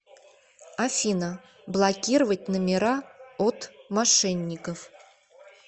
афина блокировать номера от мошенников